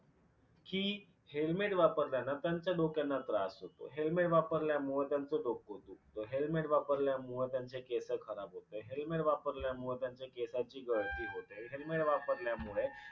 कि helmet वापरल्यान त्यांच्या डोक्यांना त्रास होतो, helmet वापरल्यामुळ त्यांचं डोकं दुखत, हेल्मेट वापरल्यामुळे त्यांचे केसं खराब होतात, हेल्मेट वापरल्यामुळे त्यांच्या केसाची गळती होते, हेल्मेट वापरल्यामुळे